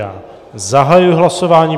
Já zahajuji hlasování.